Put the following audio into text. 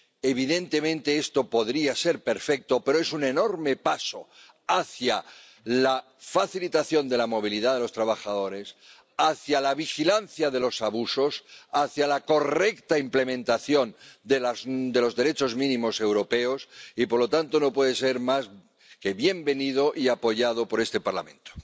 Evidentemente esto podría haber sido perfecto, pero, aun así, es un enorme paso hacia la facilitación de la movilidad de los trabajadores, hacia la vigilancia de los abusos, hacia la correcta implementación de los derechos mínimos europeos y, por lo tanto, no puede ser más que bienvenido y apoyado por este Parlamento.